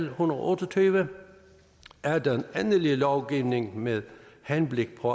en hundrede og otte og tyve er den endelige lovgivning med henblik på